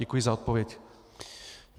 Děkuji za odpověď.